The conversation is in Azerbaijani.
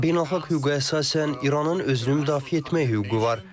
Beynəlxalq hüquqa əsasən, İranın özünü müdafiə etmək hüququ var.